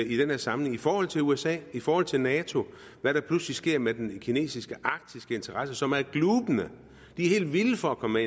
i den her sammenhæng i forhold til usa i forhold til nato hvad der pludselig sker med den kinesiske arktiske interesse som er glubende de er helt vilde for at komme